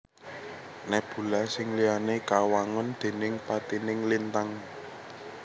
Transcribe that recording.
Nebula sing liyané kawangun déning patining lintang